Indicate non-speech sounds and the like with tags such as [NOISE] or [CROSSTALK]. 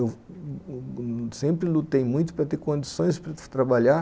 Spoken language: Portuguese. Eu [HESITATION] sempre lutei muito para ter condições para trabalhar